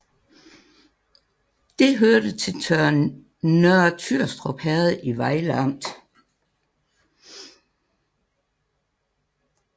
Det hørte til Nørre Tyrstrup Herred i Vejle Amt